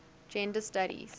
gender studies